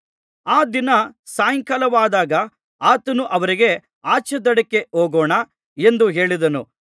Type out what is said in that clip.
ಆ ದಿನ ಸಾಯಂಕಾಲವಾದಾಗ ಆತನು ಅವರಿಗೆ ಆಚೇದಡಕ್ಕೆ ಹೋಗೋಣ ಎಂದು ಹೇಳಿದನು